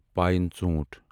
pine ژوٛنٹھ